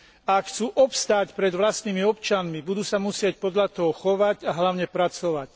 Ak chcú obstáť pred vlastnými občanmi, budú sa musieť podľa toho chovať a hlavne pracovať.